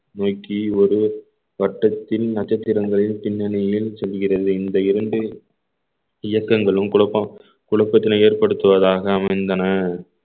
நோக்கி ஒரு வட்டத்தில் நட்சத்திரங்களின் பின்னணியில் செல்கிறது இந்த இரண்டு இயக்கங்களும் குழப்பம் குழப்பத்தினை ஏற்படுத்துவதாக அமைந்தன